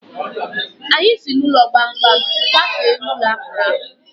Anyị si n'ụlọ gbamgbam kwafee n'ụlọ akpụrụ akpụ.